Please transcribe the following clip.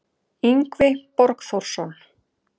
Yngvi Borgþórsson